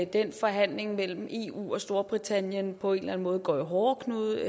den forhandling mellem eu og storbritannien på en eller anden måde går i hårdknude